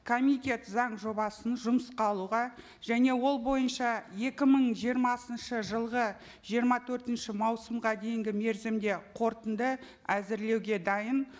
комитет заң жобасын жұмысқа алуға және ол бойынша екі мың жиырмасыншы жылғы жиырма төртінші маусымға дейінгі мерзімде қорытынды әзірлеуге дайын